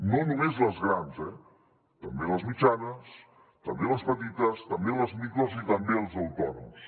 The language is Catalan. no només les grans eh també les mitjanes també les petites també les micros i també els autònoms